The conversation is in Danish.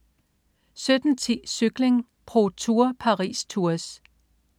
17.10 Cykling: ProTour. Paris-Tours